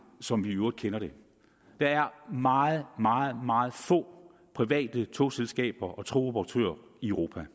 som vi i øvrigt kender det der er meget meget meget få private togselskaber og togoperatører i europa